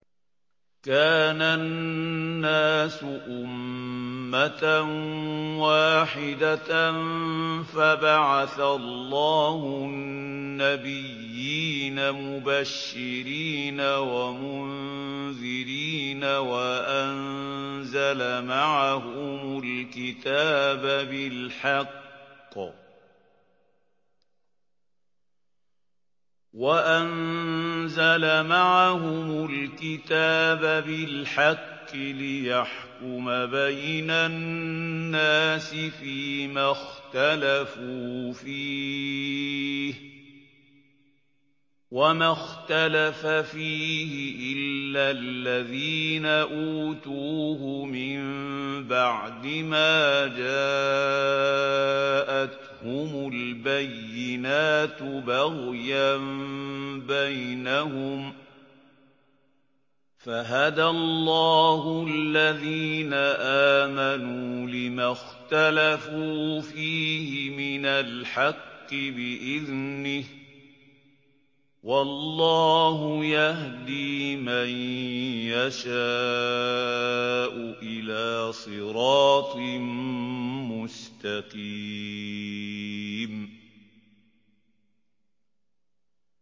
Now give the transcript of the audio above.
كَانَ النَّاسُ أُمَّةً وَاحِدَةً فَبَعَثَ اللَّهُ النَّبِيِّينَ مُبَشِّرِينَ وَمُنذِرِينَ وَأَنزَلَ مَعَهُمُ الْكِتَابَ بِالْحَقِّ لِيَحْكُمَ بَيْنَ النَّاسِ فِيمَا اخْتَلَفُوا فِيهِ ۚ وَمَا اخْتَلَفَ فِيهِ إِلَّا الَّذِينَ أُوتُوهُ مِن بَعْدِ مَا جَاءَتْهُمُ الْبَيِّنَاتُ بَغْيًا بَيْنَهُمْ ۖ فَهَدَى اللَّهُ الَّذِينَ آمَنُوا لِمَا اخْتَلَفُوا فِيهِ مِنَ الْحَقِّ بِإِذْنِهِ ۗ وَاللَّهُ يَهْدِي مَن يَشَاءُ إِلَىٰ صِرَاطٍ مُّسْتَقِيمٍ